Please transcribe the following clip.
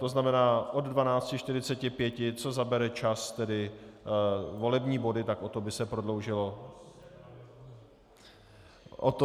to znamená od 12.45 co zabere čas, tedy volební body, tak o to by se prodloužilo jednání.